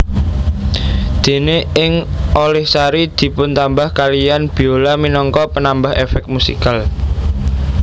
Dene ing Olihsari dipuntambah kaliyan biola minangka penambah efek musikal